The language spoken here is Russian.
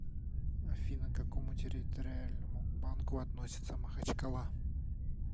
афина к какому территориальному банку относится махачкала